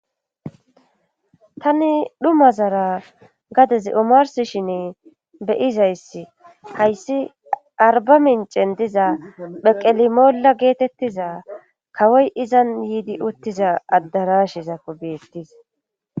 tani dhuma zara gadez umars shinne beyizayssi hayssi arba mincen diza pheqelimoolla geetettiza kawoy izan yiidi uttiza addarashizakko beettis